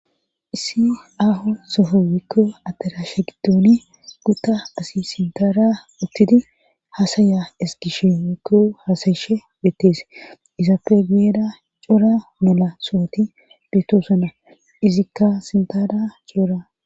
issi aho sofo wekko atarashe giddooni gutta asi sintara uttidi hasaya eskishe wekko hasayishe betes izappegiyeda cora mela sohoti beetosona izikka sintada coora